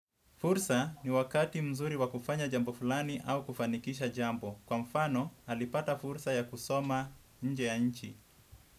Fursa ni wakati mzuri wa kufanya jambo fulani au kufanikisha jambo. Kwa mfano, alipata fursa ya kusoma nje ya nchi.